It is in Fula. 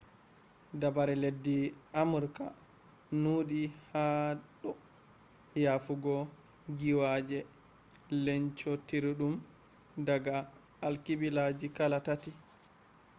dabare leddi amurka nuudi ha do yofugo giiwaaje lencootiridum daga alkibila kala tati